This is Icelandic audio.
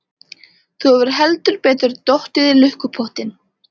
Þú hefur heldur betur dottið í lukkupottinn!